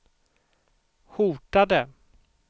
hotade